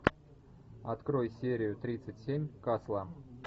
открой серию тридцать семь касла